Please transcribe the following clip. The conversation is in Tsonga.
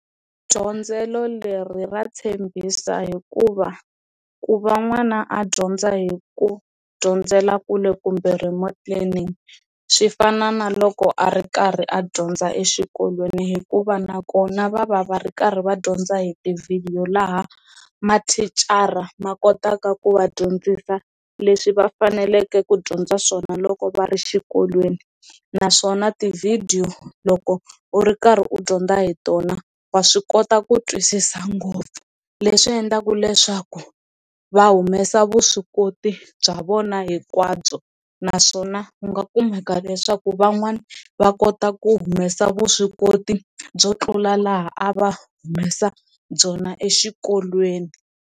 Dyondzelo leri ra tshembisa hikuva ku va n'wana a dyondza hi ku dyondzela kule kumbe remote learning swi fana na loko a ri karhi a dyondza exikolweni hikuva nakona va va va ri karhi va dyondza a hi tivhidiyo laha mathicara ma kotaka ku va dyondzisa leswi va faneleke ku dyondza swona loko va ri xikolweni, naswona tivhidiyo loko u ri karhi u dyondza hi tona wa swi kota ku twisisa ngopfu leswi endlaka leswaku va humesa vuswikoti bya vona hinkwabyo naswona ku nga kumeka leswaku van'wana va kota ku humesa vuswikoti byo tlula laha a va humesa byona exikolweni.